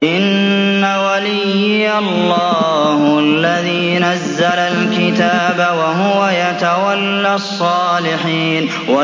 إِنَّ وَلِيِّيَ اللَّهُ الَّذِي نَزَّلَ الْكِتَابَ ۖ وَهُوَ يَتَوَلَّى الصَّالِحِينَ